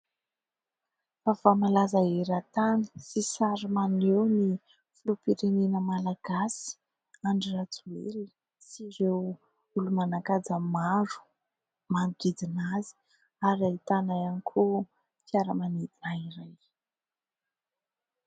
Vaovao malaza eran-tany sy sary maneho ny filoham-pirenena malagasy Andry Rajoelina sy ireo olo-manan-kaja maro manodidina azy ary ahitana ihany koa fiaramanidina iray.